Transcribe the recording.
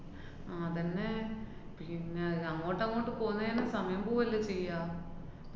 അതന്നെ. പിന്ന അങ്ങോട്ടങ്ങോട്ട് പോകുന്ന തന്നെ സമയം പോവല്ലേ ചെയ്യാ?